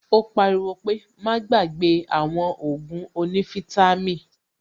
Ó pariwo pé "Má gbàgbé àwọn Ògùn onífítàmì"